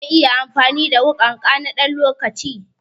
Zan iya amfani da wuƙanka na ɗan lokaci?